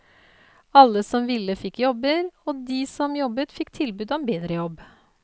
Alle som ville fikk jobber, og de som jobbet fikk tilbud om bedre jobb.